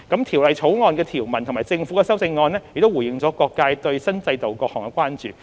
《條例草案》的條文及政府的修正案已回應了各界對新制度的各項關注。